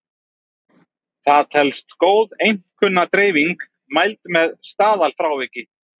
Það telst góð einkunnadreifing mæld með staðalfráviki.